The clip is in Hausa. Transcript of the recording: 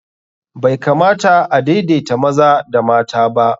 Bai kamata a daidaita maza da mata.